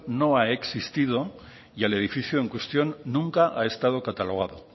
no ha existido y el edificio en cuestión nunca ha estado catalogado